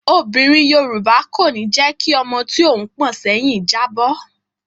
Obìnrin Yorùbá kò ní jẹ́ kí ọmọ tí òun pọ̀n sẹ́yìn jábọ́.